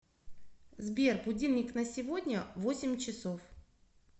сбер будильник на сегодня восемь часов